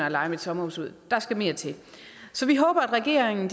at leje mit sommerhus ud der skal mere til så vi håber at regeringen